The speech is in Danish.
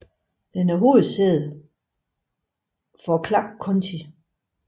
Den er hovedsæde for Clarke County